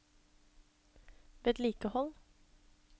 vedlikehold